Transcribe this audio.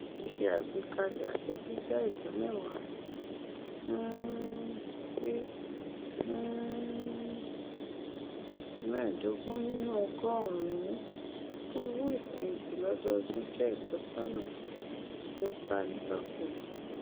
ṣíṣe àgbékalẹ àjọ dídá ìdá mẹwàá um sí um mẹẹdógún nínú ọgọrùún fún owoífẹhìntì lọdọọdún jẹ ìtọsọnà tí ó kálékáko